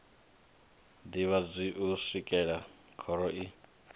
ḓivhadzwi u swikela khoro i